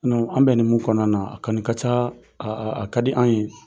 An bɛ ni mun kɔnɔna na a kani ka ca, a ka di an ye.